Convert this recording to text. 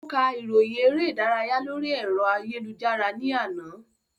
Ó ka ìròyìn eré ìdárayá lórí ẹ̀rọ ayélujára ní àná